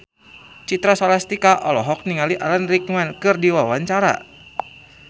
Citra Scholastika olohok ningali Alan Rickman keur diwawancara